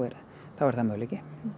er það möguleiki